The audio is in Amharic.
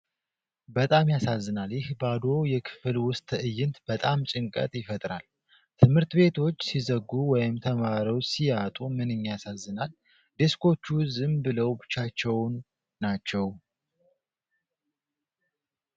በጣም ያሳዝናል! ይህ ባዶ የክፍል ውስጥ ትእይንት በጣም ጭንቀት ይፈጥራል! ትምህርት ቤቶች ሲዘጉ ወይም ተማሪዎች ሲያጡ ምንኛ ያሳዝናል! ዴስኮቹ ዝም ብለው ብቻቸውን ናቸው!